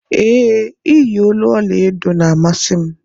Ee, iye olu ọla edo na-amasị m.